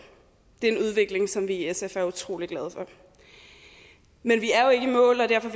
det er en udvikling som vi i sf er utrolig glade for men vi er jo ikke i mål og derfor